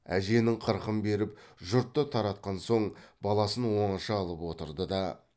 әженің қырқын беріп жұртты таратқан соң баласын оңаша алып отырды да